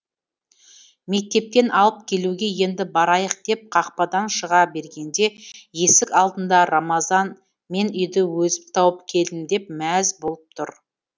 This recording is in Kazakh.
мектептен алып келуге енді барайық деп қақпадан шыға бергенде есік алдында рамазан мен үйді өзім тауып келдім деп мәз болып тұр